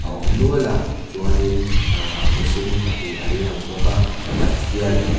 a awm nual a chuan in ahh mihring pahnih an lang bawk a pakhat hian--